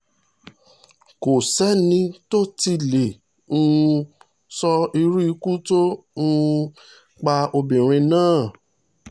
kò sẹ́ni tó sẹ́ni tó tí ì lè um sọ irú ikú tó um pa obìnrin náà